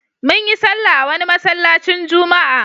Mun yi sallah a wani masallacin juma'a.